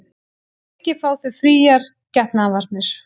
Að auki fá þau fríar getnaðarvarnir